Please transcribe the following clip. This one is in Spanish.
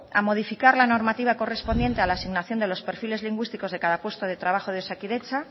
a modificar la normativa correspondiente a la asignación de los perfiles lingüísticos de cada puesto de trabajo de osakidetza